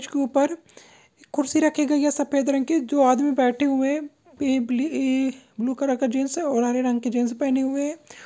इसके ऊपर एक कुर्सी रखी गई है सफेद रंग की जो आदमी बैठे हुए हैं इइ बलि इ-इह ब्लू कलर का जीन्स है और हरे रंग की जीन्स पहने हुए है ।